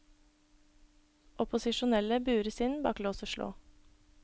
Opposisjonelle bures inn bak lås og slå.